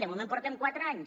de moment portem quatre anys